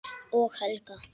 Og Helga.